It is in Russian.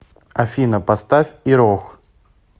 афина поставь ирох